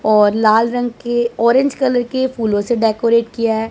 और लाल रंग के ऑरेंज कलर के फूलों से डेकोरेट किया है।